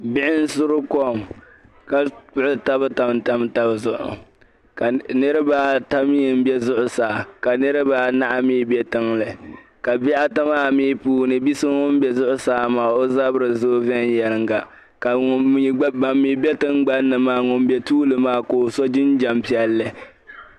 Bihi n-suri kɔm ka kpuɣi taba tamtam tab zuɣu. Niriba ata mi m-be zuɣusaa ka niriba anahi mi be tiŋli. Ka bihi ata maa puuni, bi so ŋun be zuɣusaa maa o zabiri zoo viɛnyɛliŋga ka bam mi be tingbani maa, ŋun be tuuli maa ko'so jinjam piɛlli.